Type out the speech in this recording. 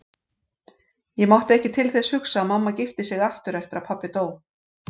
Ég mátti ekki til þess hugsa að mamma gifti sig aftur eftir að pabbi dó.